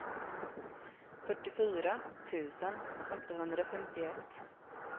fyrtiofyra tusen åttahundrafemtioett